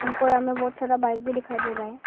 हमको यहां में बहुत सारा बाइक भी दिखाई दे रहा है।